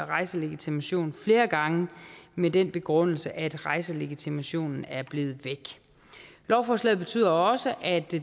rejselegitimation flere gange med den begrundelse at rejselegitimationen er blevet væk lovforslaget betyder også at det